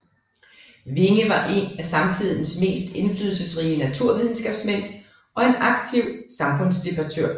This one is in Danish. Winge var en af samtidens mest indflydelsesrige naturvidenskabsmænd og en aktiv samfundsdebattør